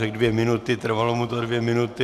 Řekl dvě minuty, trvalo mu to dvě minuty .